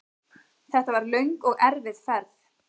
Þetta var löng og erfið ferð.